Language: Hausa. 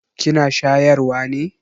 Kina shayarwa ne?